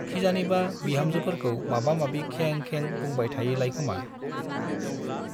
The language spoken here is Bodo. खिजानिबा बिहामजोफोरखौ माबा माबि खें खें बुंबाय थायोलायखोमा ।